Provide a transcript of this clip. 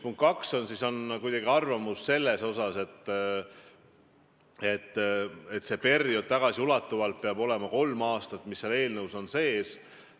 Punkt 2: on arvamus, et see periood peabki tagasiulatuvalt olema kolm aastat, nagu eelnõus kirjas on.